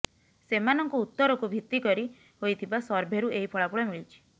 ସେମାନଙ୍କ ଉତ୍ତରକୁ ଭିତ୍ତି କରି ହୋଇଥିବା ସର୍ଭେରୁ ଏହି ଫଳାଫଳ ମିଳିଛି